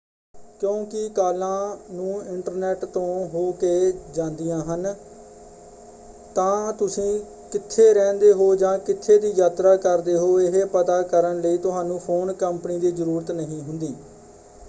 ਕਿਉਂਕਿ ਕਾਲਾਂ ਨੂੰ ਇੰਟਰਨੈਟ ਤੋਂ ਹੋ ਕੇ ਜਾਂਦੀਆਂ ਹਨ ਤਾਂ ਤੁਸੀਂ ਕਿੱਥੇ ਰਹਿੰਦੇ ਹੋ ਜਾਂ ਕਿੱਥੇ ਦੀ ਯਾਤਰਾ ਕਰਦੇ ਹੋ ਇਹ ਪਤਾ ਕਰਨ ਲਈ ਤੁਹਾਨੂੰ ਫ਼ੋਨ ਕੰਪਨੀ ਦੀ ਜਰੂਰਤ ਨਹੀਂ ਹੁੰਦੀ।